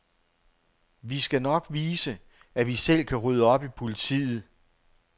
Vi skal nok vise, at vi selv kan rydde op i politiet.